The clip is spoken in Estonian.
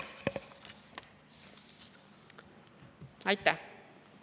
Aitäh!